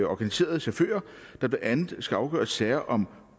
organiserede chauffører der blandt andet skal afgøre sager om